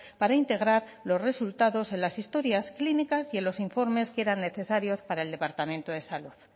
para integrar los resultados en las historias clínicas y en los informes que eran necesarios para el departamento de salud